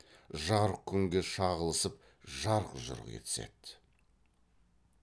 жарық күнге шағылысып жарқ жұрқ етіседі